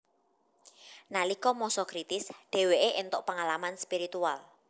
Nalika masa kritis dheweke entuk pengalaman spiritual